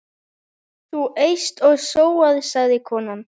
Þú eyst og sóar, sagði konan.